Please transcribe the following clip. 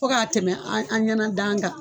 Fɔ k'a tɛmɛ an an ɲɛna dan kan